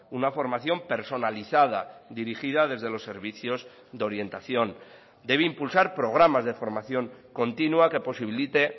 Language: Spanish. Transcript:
una formación personalizada dirigida desde los servicios de orientación debe impulsar programas de formación continua que posibilite